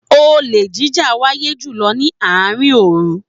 Olè jíjà ń wáyé jùlọ ni àárín òòru